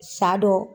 Sa dɔ